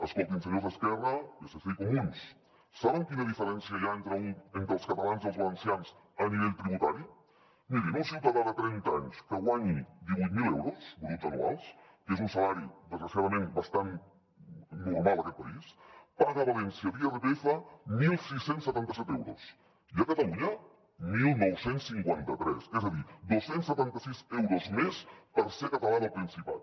escoltin senyors d’esquerra psc i comuns saben quina diferència hi ha entre els catalans i els valencians a nivell tributari mirin un ciutadà de trenta anys que guanyi divuit mil euros bruts anuals que és un salari desgraciadament bastant normal en aquest país paga a valència d’irpf setze setanta set euros i a catalunya dinou cinquanta tres és a dir dos cents i setanta sis euros més per ser català del principat